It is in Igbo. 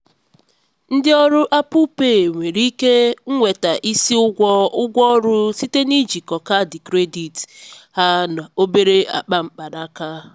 ndị ọrụ apple pay nwere ike nweta isi ụgwọ ụgwọ ọrụ site na ijikọ kaadị kredit ha na obere akpa mkpanaka.